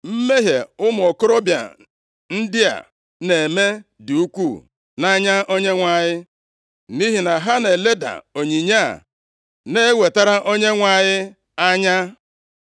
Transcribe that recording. Mmehie ụmụ okorobịa ndị a na-eme dị ukwuu nʼanya Onyenwe anyị, nʼihi na ha na-eleda onyinye a na-ewetara Onyenwe anyị anya.